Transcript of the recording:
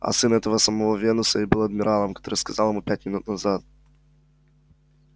а сын этого самого венуса и был тем адмиралом который сказал ему пять минут назад